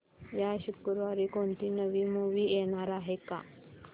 या शुक्रवारी कोणती नवी मूवी येणार आहे का